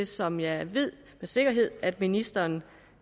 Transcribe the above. som jeg med sikkerhed at ministeren